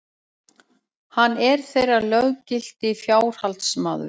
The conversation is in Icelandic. Hann er þeirra löggilti fjárhaldsmaður.